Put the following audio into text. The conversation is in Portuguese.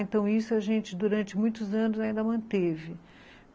Então, isso a gente, durante muitos anos, ainda manteve.